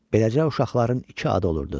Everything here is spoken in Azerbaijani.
Beləcə, uşaqların iki adı olurdu.